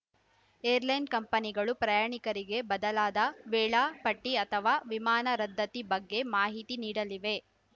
airline ಕಂಪನಿಗಳು ಪ್ರಯಾಣಿಕರಿಗೆ ಬದಲಾದ ವೇಳಾ ಪಟ್ಟಿಅಥವಾ ವಿಮಾನ ರದ್ಧತಿ ಬಗ್ಗೆ ಮಾಹಿತಿ ನೀಡಲಿವೆ